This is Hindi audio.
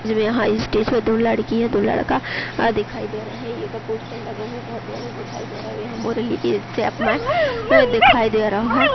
यहाँ स्टेज पे दो लड़की है दो लड़का दिखाई दे रहे हैं एक पोस्टर लगेहू बोहोत बड़ो दिखाई दे रओ और यहाँ पर मुरली के में दिखाई दे रहो है --